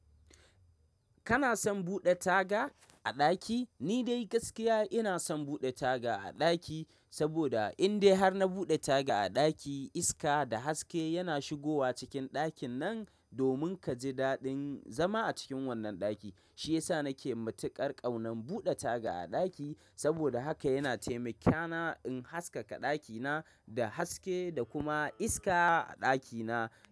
Kana son buɗe taga a ɗaki? Ni dai gaskiya ina son buɗe taga a ɗaki, saboda in dai har na buɗe taga a ɗaki iska da haske yana shigowa cikin ɗakin nan, domin kaji daɗin zama a cikin wannan ɗaki. Shi yasa nake matuƙar ƙaunar buɗe taga a ɗaki, saboda hakan yana taimakona in haskaka ɗakina da haske da kuma iska a ɗakina.